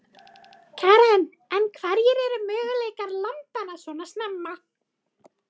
Karen: En hverjir eru möguleikar lambanna svona snemma?